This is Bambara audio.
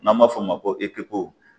N'an b'a f'o ma ko ekipu